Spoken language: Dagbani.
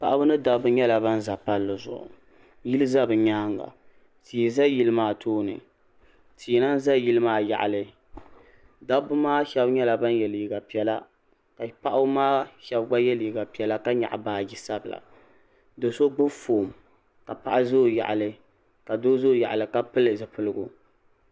Paɣaba ni dabba nyɛla bani za palli zuɣu yili za bi yɛanga tii za yili maa tooni tii lahi za yili maa yaɣili dabba maa shɛba nyɛla bani ye liiga piɛlla ka paɣaba maa shɛba gba ye liiga piɛlla ka nyɛɣi baaji sabila do so gbubi foon ka paɣa za o yaɣili ka doo za o yaɣili ka pili zupiligu.